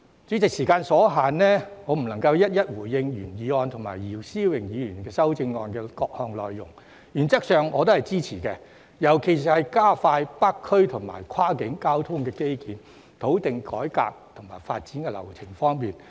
主席，時間所限，我不能夠逐一回應原議案及姚思榮議員的修正案的各項內容，原則上我都支持，尤其是在加快北區及跨境交通基建、土地改劃及發展流程方面。